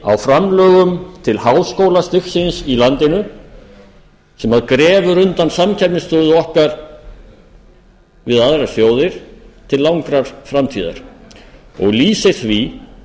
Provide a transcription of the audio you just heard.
á framlögum til háskólastigsins í landinu sem grefur undan samkeppnisstöðu okkar við aðra sjóði til langrar framtíðar og lýsir því hversu kolröng